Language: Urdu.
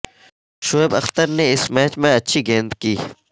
شعیب اختر نے اس میچ میں اچھی گیند کی